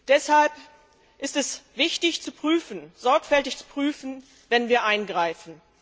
Deshalb ist es wichtig, sorgfältig zu prüfen, wenn wir eingreifen.